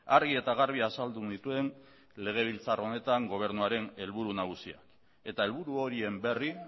argi eta garbi azaldu nituen legebiltzar honetan gobernuaren helburu nagusia eta helburu horien berri